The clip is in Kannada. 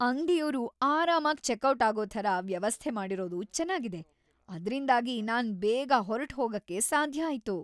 ಅಂಗ್ಡಿಯೋರು ಆರಾಮಾಗ್ ಚೆಕ್ಔಟ್ ಆಗೋ ಥರ ವ್ಯವಸ್ಥೆ ಮಾಡಿರೋದು ಚೆನಾಗಿದೆ, ಅದ್ರಿಂದಾಗಿ ನಾನ್ ಬೇಗ ಹೊರ್ಟ್‌ಹೋಗಕ್ಕೆ ಸಾಧ್ಯ ಆಯ್ತು.